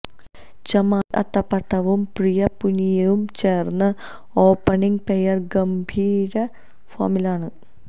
ചമാരി അത്തപ്പട്ടുവും പ്രിയ പുനിയയും ചേർന്ന ഓപ്പണിംഗ് പെയർ ഗംഭീര ഫോമിലാണ്